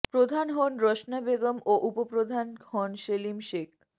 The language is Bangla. প্রধান হন রসনা বেগম ও উপপ্রধান হন সেলিম শেখ